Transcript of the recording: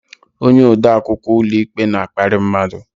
Onye ode akwụkwọ ụlọikpe na-akparị mmadụ.